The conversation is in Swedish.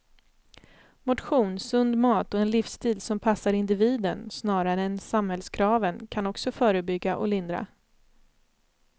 Motion, sund mat och en livsstil som passar individen snarare än samhällskraven kan också förebygga och lindra.